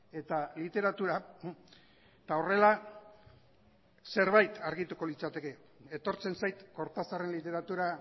eta literatura eta horrela zerbait argituko litzateke etortzen zait cortazarren literatura